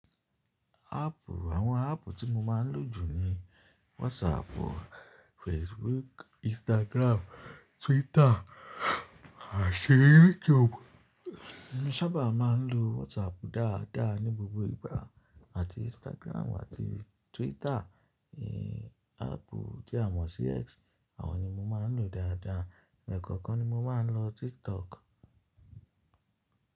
Áàpù, àwọn áàpù tí mo máa ń lò jù ni WhatsApp, Facebook, Instagram, Twitter àti LinkedIn. Mo sábà máa ń lo WhatsApp dáadáa ní gbogbo ìgbà àti Instagram àti Twitter. Áàpù tí a mọ̀ sí X, àwọn ni mo máa ń lò dáadáa. Ẹ̀ẹ̀kọ̀kan ni mo máa ń lo TikTok.